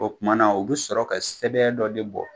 O kumana o be sɔrɔ ka sɛbɛn dɔ de bɔ